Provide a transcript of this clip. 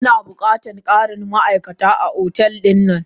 Ina bukatan karin ma'aikata a otel dina.